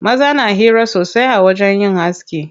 Maza na hira sosai a wajen yin aski.